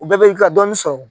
U bɛɛ b'i ka dɔɔnin sɔrɔ